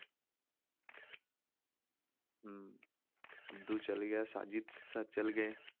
ਹਮ ਅਬਦੂ ਚਲੇ ਗਿਆ, ਸਾਜਿਤ sir ਚਲੇ ਗਏ।